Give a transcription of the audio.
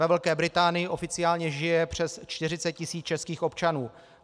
Ve Velké Británii oficiálně žije přes 40 tisíc českých občanů.